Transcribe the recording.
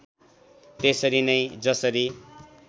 त्यसरी नै जसरी